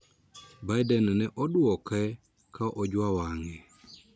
Biden ne oduoke ka ojuo wang`e